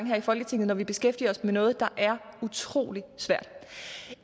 her i folketinget når vi beskæftiger os med noget der er utrolig svært